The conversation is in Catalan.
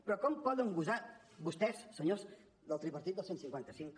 però com poden gosar vostès senyors del tripartit del cent i cinquanta cinc